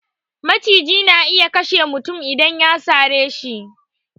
Maciji na iya kashe mutum idan ya sare shi